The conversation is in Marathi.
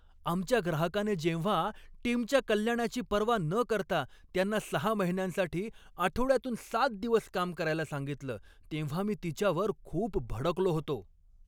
आमच्या ग्राहकाने जेव्हा टीमच्या कल्याणाची पर्वा न करता त्यांना सहा महिन्यांसाठी आठवड्यातून सात दिवस काम करायला सांगितलं तेव्हा मी तिच्यावर खूप भडकलो होतो.